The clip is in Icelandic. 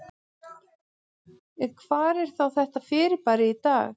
En hvar er þá þetta fyrirbæri í dag?